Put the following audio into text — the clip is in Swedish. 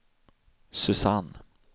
Susanne